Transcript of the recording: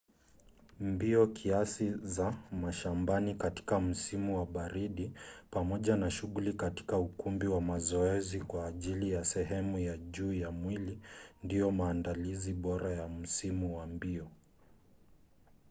mbio kiasi za mashambani katika msimu wa baridi pamoja na shughuli katika ukumbi wa mazoezi kwa ajili ya sehemu ya juu ya mwili ndiyo maandalizi bora ya msimu wa mbio